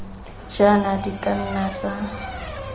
jaana di ka nna tsa